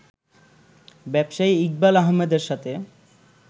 ব্যবসায়ী ইকবাল আহমেদের সাথে